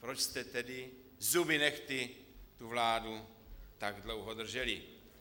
Proč jste tedy zuby nehty tu vládu tak dlouho drželi?